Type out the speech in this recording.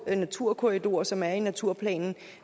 naturkorridorer som er i naturplanen